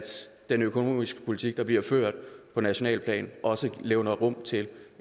den økonomiske politik der bliver ført på nationalt plan også levner rum til